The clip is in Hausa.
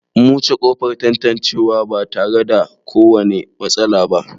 Mun wuce ƙofar tantancewa ba tare da kowane matsala ba.